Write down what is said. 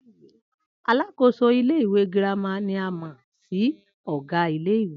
Alákòóso ilé ìwé girama ni a mò̩ sí ò̩gá ilé ìwé